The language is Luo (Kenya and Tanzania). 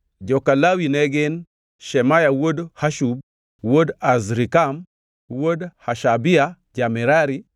Joka Lawi ne gin: Shemaya wuod Hashub, wuod Azrikam, wuod Hashabia ja-Merari;